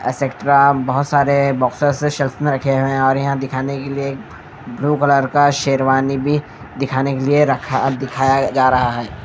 Etcetera बहुत सारे boxes इस सेल्स में रखे हुए हैं और यहां दिखाने के लिए ब्लू कलर का शेरवानी भी दिखाने के लिए रखा दिखाया जा रहा है।